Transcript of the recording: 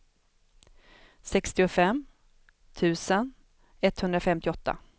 sextiofem tusen etthundrafemtioåtta